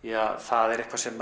það er eitthvað sem